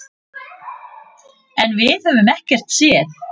En við höfum ekkert séð.